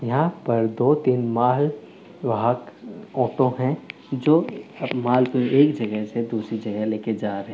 यहाँ पर दो तीन माल वाहक ऑटो है जो माल को एक जगह से दूसरी जगह ले के जा रहे हैं।